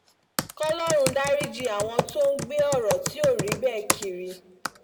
kòlórun dariji àwọn tó ń gbé ọ̀rọ̀ tí ò rí bẹ́ẹ̀ kiri